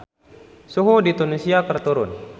Suhu di Tunisia keur turun